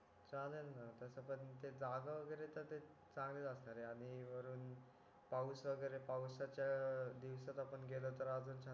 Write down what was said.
चालेल ना तस पण ते जागा वगैरे तर ते चांगलीच असणार आहे आणि वरून पाऊस वगैरे पाऊसच्या दिवसात आपण गेलो तर अजून छान